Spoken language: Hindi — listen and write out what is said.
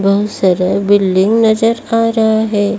बहुत सारा बिल्डिंग नजर आ रहा है।